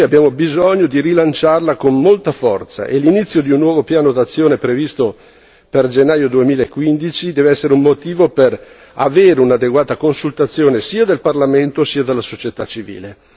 Noi abbiamo bisogno di rilanciarla con molta forza, e l'inizio di un nuovo piano d'azione previsto per gennaio 2015 deve essere un motivo per avere un'adeguata consultazione sia del Parlamento sia della società civile.